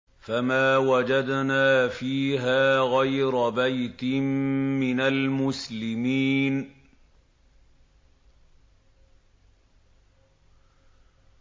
فَمَا وَجَدْنَا فِيهَا غَيْرَ بَيْتٍ مِّنَ الْمُسْلِمِينَ